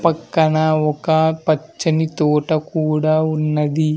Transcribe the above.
పక్కన ఒక పచ్చని తోట కూడా ఉన్నది.